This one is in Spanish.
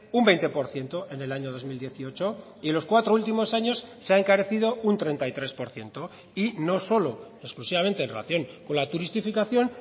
un veinte por ciento en el año dos mil dieciocho y en los cuatro últimos años se ha encarecido un treinta y tres por ciento y no solo exclusivamente en relación con la turistificación